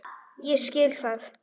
Ég skil það.